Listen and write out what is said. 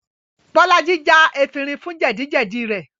Bolaji já efinrin fún jẹ́dì-jẹ́dì rẹ̀